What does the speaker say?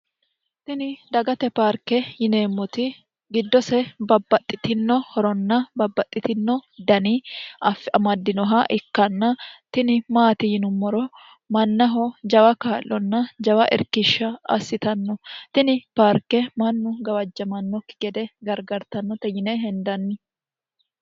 tini dagate parke yineemmoti giddose babbaxxitino horonna babbaxxitino dani amaddinoha ikkanna tini maati yinummoro mannaho jawa kaallonna jawa irkishsha assitanno tini paarke mannu gawajjamannokki gede gargartannote yine hendanni